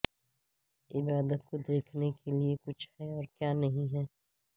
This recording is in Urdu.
عبادت کو دیکھنے کے لئے کچھ ہے اور کیا نہیں ہے